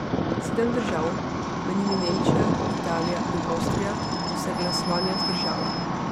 Sedem držav, med njimi Nemčija, Italija in Avstrija, so se glasovanja vzdržale.